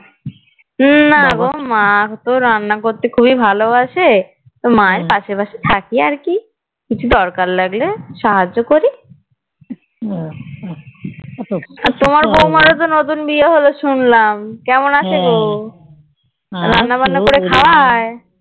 আর তোমার বৌমার ও তো নতুন বিয়ে হলো শুনলাম কেমন আছে গো? রান্নাবান্না করে খাওয়ায়